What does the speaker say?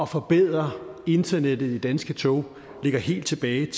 forbedre internettet i danske tog ligger helt tilbage